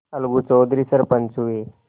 अलगू चौधरी सरपंच हुए